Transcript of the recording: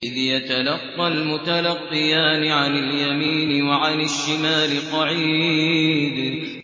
إِذْ يَتَلَقَّى الْمُتَلَقِّيَانِ عَنِ الْيَمِينِ وَعَنِ الشِّمَالِ قَعِيدٌ